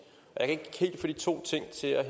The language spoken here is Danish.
og jeg kan ikke helt få de to ting til at